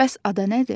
Bəs ada nədir?